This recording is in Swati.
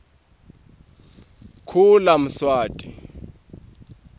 kulamswati